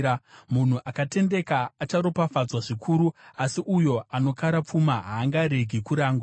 Munhu akatendeka acharopafadzwa zvikuru, asi uyo anokara pfuma haangaregi kurangwa.